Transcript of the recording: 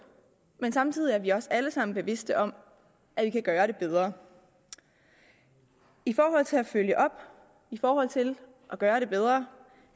men samtidig er vi også alle sammen bevidste om at vi kan gøre det bedre i forhold til at følge op i forhold til at gøre det bedre